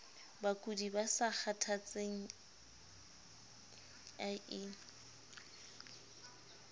bakudi ba sa kgathatseng ie